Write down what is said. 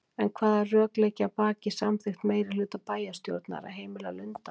En hvaða rök liggja að baki samþykkt meirihluta bæjarstjórnar að heimila lundaveiðar?